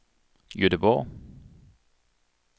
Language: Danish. Gøteborg